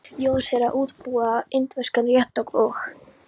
Jónsi er að útbúa indverskan rétt og.